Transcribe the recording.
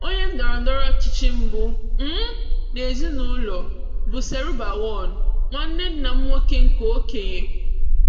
Onye ndọrọndọrọ ọchịchị mbụ um n'ezinụlọ bụ Serubawon, nwanne nna m nwoke nke okenye.